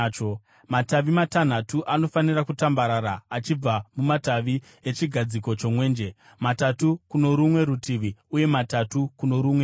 Matavi matanhatu anofanira kutambarara achibva mumativi echigadziko chomwenje, matatu kuno rumwe rutivi uye matatu kuno rumwezve.